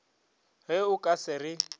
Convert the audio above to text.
ge o ka se re